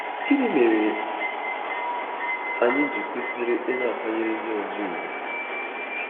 Gịnị mere anyị ji kwesị ịna-akwanyere ndị ọzọ ùgwù?